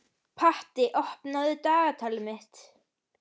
Patti, opnaðu dagatalið mitt.